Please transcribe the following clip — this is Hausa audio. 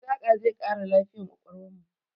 Saƙa zai ƙara lafiyar ƙwaƙwalwarmu.